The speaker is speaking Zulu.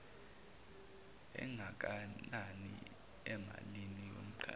engakanani emalini yomqashwa